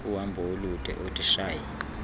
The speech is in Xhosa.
uhambo olude oodeshy